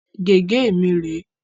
Gègé mi rè é.